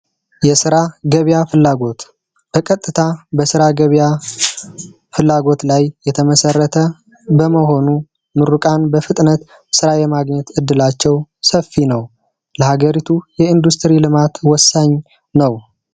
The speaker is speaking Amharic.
የስራ ገበያ ፍላጎት በቀጥታ የስራ ፍላጎት ላይ የተመሰረተ እመሆኑ ምርቃት በፍጥነት የማግኘት እድላቸው ሰፊ ነው ለሀገሪቱ የኢንዱስትሪ ልማት ወሳኝ ነው።